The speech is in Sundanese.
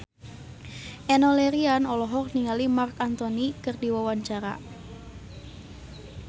Enno Lerian olohok ningali Marc Anthony keur diwawancara